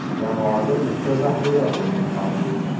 Jamoada bitta zaxira o‘yini mavjud.